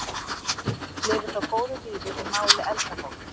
Orðið lifir þó góðu lífi í máli eldra fólks.